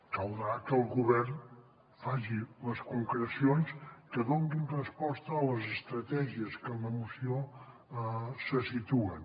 caldrà que el govern faci les concrecions que donin resposta a les estratègies que en la moció se situen